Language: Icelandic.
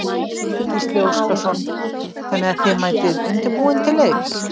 Gísli Óskarsson: Þannig að þið mætið undirbúin til leiks?